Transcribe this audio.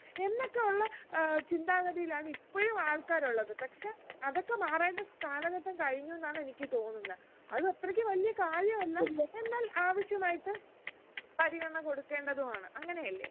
എന്നൊക്കെ ഉള്ള ഏർ ചിന്താഗതിയിലാണ് ഇപ്പോഴും ആൾക്കാർ ഉള്ളത് പക്ഷെ അതൊക്കെ മാറേണ്ട കാലഘട്ടം കഴിഞ്ഞു എന്നാണ് എനിക്ക് തോന്നുന്നെ അത് അത്രയ്ക്ക് വലിയ കാര്യ അല്ല എന്നാൽ ആവശ്യമായിട്ട് പരിഗണന കൊടുക്കേണ്ടതു ആണ് അങ്ങനെയല്ലേ